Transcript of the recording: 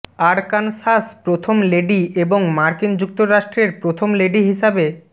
Arkansas প্রথম lady এবং মার্কিন যুক্তরাষ্ট্রের প্রথম লেডি হিসাবে